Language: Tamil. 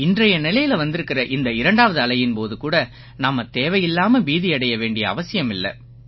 இன்றைய நிலையில வந்திருக்கற இந்த இரண்டாவது அலையின் போது கூட நாம தேவையில்லாம பீதியடைய வேண்டிய அவசியமில்லை